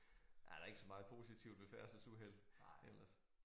Ja der ikke så meget ved færdselsuheld ellers